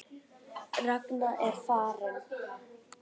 Ragna er farin.